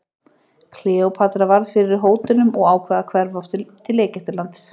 Kleópatra varð fyrir hótunum og ákvað að hverfa aftur til Egyptalands.